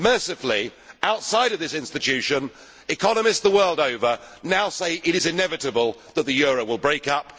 Mercifully, outside of this Institution, economists the world over now say it is inevitable that the euro will break up